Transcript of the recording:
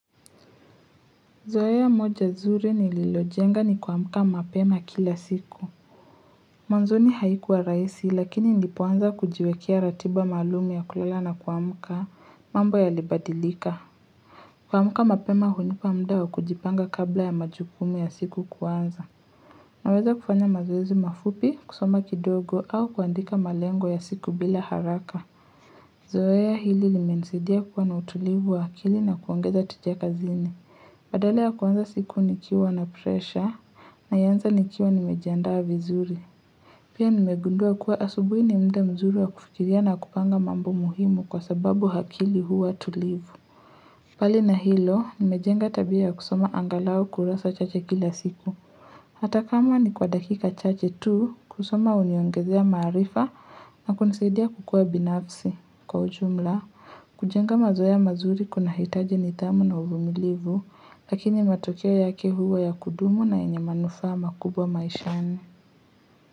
Zoea moja zuri nililojenga ni kuamuka mapema kila siku. Mwanzoni haikuwa raisi lakini nilipoanza kujiwekea ratiba maluum ya kulala na kuamka mambo yalibadilika. Kuamuka mapema hunipa mda wa kujipanga kabla ya majukumu ya siku kuanza. Naweza kufanya mazoezi mafupi, kusoma kidogo au kuandika malengo ya siku bila haraka. Zoea hili limenisaidia kuwa na utulivu wa akili na kuongeza tija kazini. Badale ya kuanza siku nikiwa na presha naianza nikiwa nimejiandaa vizuri. Pia nimegundua kuwa asubui ni mda mzuri wa kufikiria na kupanga mambo muhimu kwa sababu hakili huwa tulivu. Pali na hilo, nimejenga tabia ya kusoma angalau kurasa chache kila siku. Hata kama ni kwa dakika chache tu, kusoma uniongezea maarifa na kunisidia kukua binafsi. Kwa ujumla, kujenga mazoea mazuri kuna hitaji nithamu na uvumilivu, lakini matokeo yake huwa ya kudumu na yenye manufaa makubwa maishani.